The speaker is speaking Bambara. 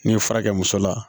N'i ye fura kɛ muso la